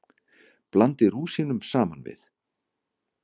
Blandið rúsínunum saman við.